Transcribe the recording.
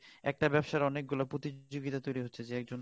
একটা ব্যবসার অনেক গুলো প্রতিযোগিতা তৈরি হচ্ছে যে একজন